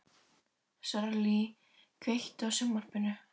Sörli, kveiktu á sjónvarpinu.